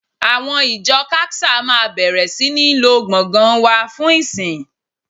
Àwọn ìjọ CACSA máa bẹ̀rẹ̀ sí ní lo gbọ̀ngàn wa fún ìsìn